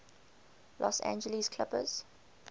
los angeles clippers